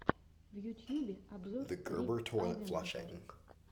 в ютьюбе обзор рик авенджер